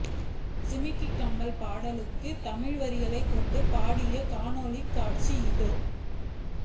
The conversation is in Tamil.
ஜிமிக்கி கம்மல் பாடலுக்கான தமிழ் வரிகளை கொண்டு பாடிய காணொளிக் காட்சி இதோ